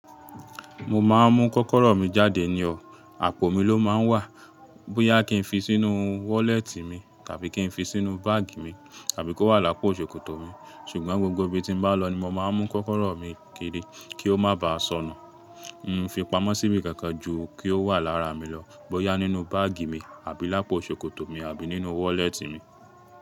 Mo máa ń mú kọ́kọ́rọ́ mi jáde ni ọ̀, àpò mi ló máa ń wà. Bóyá kí n fi sínú wọ́lẹ́tì mi, tàbí kí n fi sínú báàgì mi, tàbí kó wà lápò ṣòkòtò mi, ṣùgbọ́n gbogbo ibi tí mo bá lọ ni mo máa ń mú kọ́kọ́rọ́ mi kiri kí ó má bàá sọnù. Mi n fi pamọ́ síbi kankan ju kí ó wà lára mi lọ. Bóyá nínú báàgì mi, àbí lápò ṣòkòtò mi, àbí nínú wọ́lẹ́tì mi.